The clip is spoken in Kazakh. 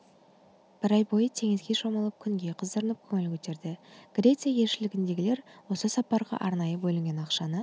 бір ай бойы теңізге шомылып күнге қыздырынып көңіл көтерді греция елшілігіндегілер осы сапарға арнайы бөлінген ақшаны